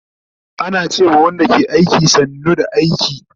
Ana ce ma Wanda ke aiki, sannu da aiki